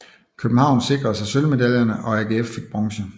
København sikrede sig sølvmedaljerne og AGF fik bronze